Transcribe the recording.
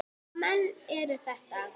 Hvaða menn eru þetta?